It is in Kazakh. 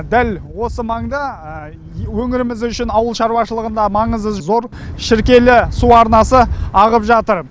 дәл осы маңда өңіріміз үшін ауыл шаруашылығында маңызы зор шіркейлі су арнасы ағып жатыр